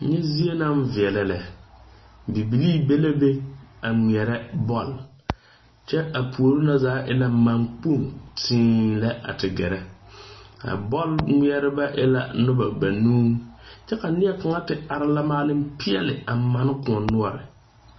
Nyɛ zie na viɛlɛ lɛ. Bibilii be la be a ŋmɛɛrɛ bɔl. Kyɛ a poore na zaa e la man kpong teeee lɛ a te gɛrɛ. A bɔl ŋmɛrɛbe e la noba banuu. Kyɛ ka neɛ kanga te are la maale piɛli a man koɔ nuore